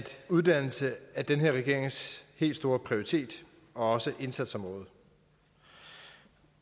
uddannelse er den her regerings helt store prioritet og indsatsområde